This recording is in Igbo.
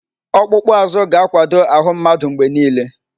Ọkpụkpụ azụ ga-akwado ahụ mmadụ mgbe niile.